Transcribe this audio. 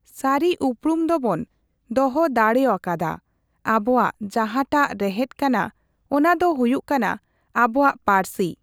ᱥᱟᱨᱤ ᱩᱯᱨᱩᱢ ᱫᱚᱵᱚᱱ ᱫᱚᱦᱚ ᱫᱟᱲᱮᱣᱟᱠᱟᱫᱟ᱾ ᱟᱵᱚᱣᱟᱜ ᱡᱟᱦᱟᱸᱴᱟᱜ ᱨᱮᱦᱮᱫ ᱠᱟᱱᱟ, ᱚᱱᱟᱫᱚ ᱦᱩᱭᱩᱜ ᱠᱟᱱᱟ ᱟᱵᱚᱣᱟᱜ ᱯᱟᱹᱨᱥᱤ᱾